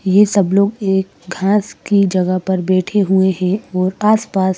ये सब लोग एक घास की जगह पर बैठे हुए हैं और आसपास--